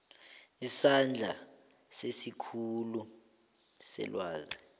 isandla sesikhulu selwazi